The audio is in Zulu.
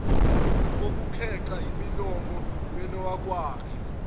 kokukhexa imilomo benowakwakhe